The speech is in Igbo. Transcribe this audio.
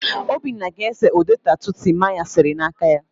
Obinna ga-ese ụdị tatu Timaya sere n'aka ya.